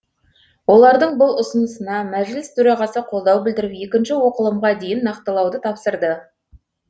олардың бұл ұсынысына мәжіліс төрағасы қолдау білдіріп екінші оқылымға дейін нақтылауды тапсырды